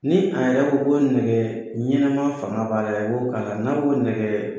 Ni a yɛrɛ ko ko nɛgɛɛ ɲɛnama fanga b'a la dɛ, n y'o k'a la, n'aw ma nɛgɛ